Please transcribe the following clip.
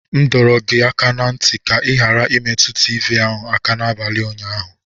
M dọrọ gị aka ná ntị ka ị ghara imetụ tivii ahụ aka n'abalị ụnyaahụ.